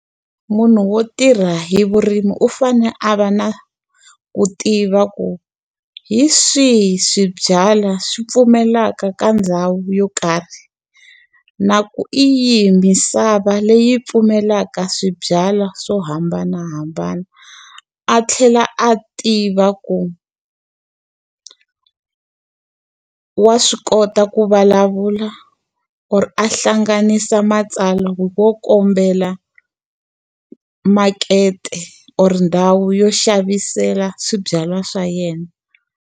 Munhu wo tirha hi vurimi u fanele a va na ku tiva ku hi swihi swibyalwa swi pfumelaka ka ndhawu yo karhi, na ku hi yi misava leyi pfumelaka swibyalwa swo hambanahambana. A tlhela a tiva ku wa swi kota ku vulavula or a hlanganisa matsalwa yo kombela makete or ndhawu yo xavisela swibyalwa swa yena.